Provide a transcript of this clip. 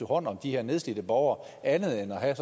hånd om de her nedslidte borgere andet end at have